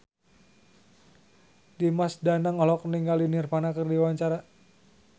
Dimas Danang olohok ningali Nirvana keur diwawancara